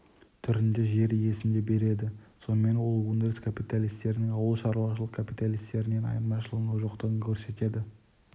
түрінде жер иесіне береді сонымен ол өндіріс капиталисттерінің ауыл шаруашылық капиталистерінен айырмашылығының жоқтығын көрсетеді